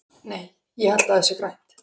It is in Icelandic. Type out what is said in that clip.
Nei, ég held að það sé grænt.